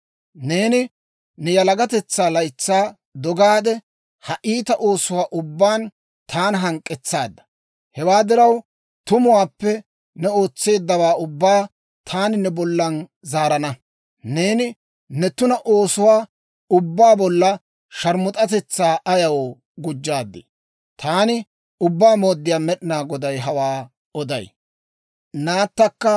«‹ «Neeni ne yalagatetsaa laytsaa dogaade, ha iita oosuwaa ubbaan taana hank'k'etsaadda. Hewaa diraw, tumuwaappe ne ootseeddawaa ubbaa taani ne bollan zaarana. Neeni ne tuna oosotuwaa ubbaa bolla sharmus'atetsaa ayaw gujjaadii? Taani Ubbaa Mooddiyaa Med'inaa Goday hawaa oday.